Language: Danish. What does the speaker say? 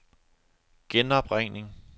genopringning